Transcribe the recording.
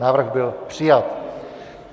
Návrh byl přijat.